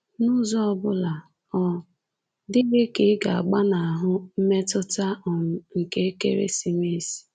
N'ụzọ obula, ọ dịghị ka ị ga-agbanahụ mmetụta um nke ekeresimesi.